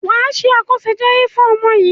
Wà á ṣe àkọsẹ̀jayé fún ọmọ yìí.